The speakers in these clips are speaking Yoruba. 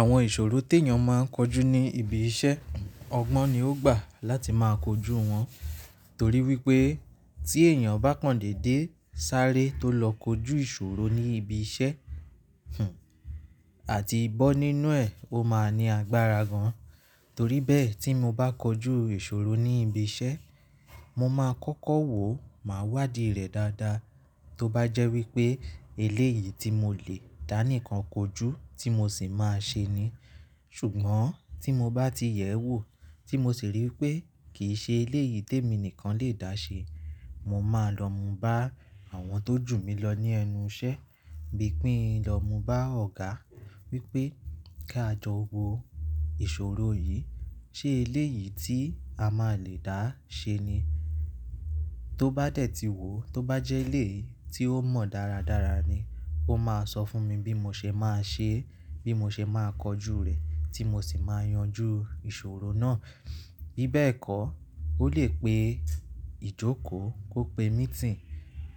Àwọn ìṣòro tí èèyàn máa ń kojú ní ibi iṣẹ́, ọgbọ́n ni ó gbà láti máa kojú wọn. Torí wípé tí èèyàn bá kọ̀ndèdé sáré tó lọ kojú ìṣòro ní ibi iṣẹ́, àti ìbọn nínú ẹ̀, ó máa ní agbára gan. Torí bẹ́ẹ̀ tí mo bá kojú ìṣòro ní ibi iṣẹ́, mo máa kọ́kọ́ wò, màá wádìí rẹ̀ dáadáa. Tó bá jẹ́ wípé eléyìí tí mo le dá nìkan kojú tí mo sì máa ṣe ni. Ṣùgbọ́n tí mo bá ti yẹ̀ ẹ́ wò tí mo sì rí i pé kì í ṣe eléyìí tí èmi nìkan lè dá ṣe, mo máa lọ mú bá àwọn tó jù mí lọ ní ẹnu iṣẹ́. Bí i pín lọ mú bá ọ̀gá wípé kí a jọ wo ìṣòro yìí, ṣe eléyìí tí a máa le dá ṣe ni? Tó bá dẹ̀ ti wò, tó bá jẹ́ eléyìí tí ó mọ̀ dáradára ni, ó máa sọ fún mi bí mo ṣe máa ṣe é, bí mo ṣe máa kojú rẹ̀ tí mo sì máa yanjú ìṣòro náà. Bí bẹ́ẹ̀ kọ́, ó lè pe ìjókòó, kó pe mítìnì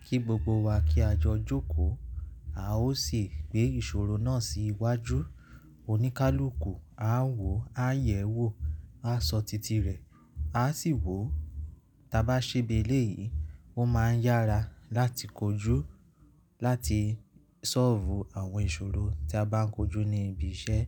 kí gbogbo wa kí a jọ jókòó, a ó sì gbé ìṣòro náà sí iwájú. Oníkálukú, a ń wò, a ń yẹ̀ ẹ́ wò, a sọ titi rẹ̀, a sì wò. Tí a bá ṣe bí eléyìí, ó máa ń yára láti kojú, láti solve àwọn ìṣòro tí a bá ń kojú ní ibi iṣẹ́